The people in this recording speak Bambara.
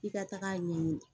I ka taga ɲɛ ɲini